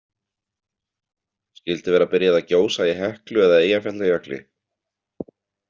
Skyldi vera byrjað að gjósa í Heklu eða Eyjafjallajökli?